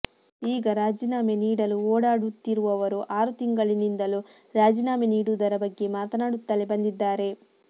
ಈಗ ರಾಜೀನಾಮೆ ನೀಡಲು ಓಡಾಡುತ್ತಿರುವವರು ಆರು ತಿಂಗಳಿನಿಂದಲೂ ರಾಜೀನಾಮೆ ನೀಡುವುದರ ಬಗ್ಗೆ ಮಾತನಾಡುತ್ತಲೇ ಬಂದಿದ್ದಾರೆ